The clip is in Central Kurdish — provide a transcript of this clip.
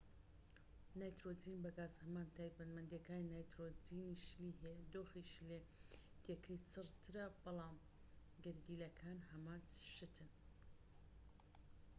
نایترۆجین بە گاز هەمان تایبەتمەندیەکانی نایترۆجینی شلی هەیە دۆخی شلێتیەکەی چڕ ترە بەڵام گەردیلەکان هەمان شتن